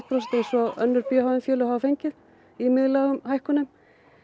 prósent eins og önnur b h m félög hafa fengið í miðlægum hækkunum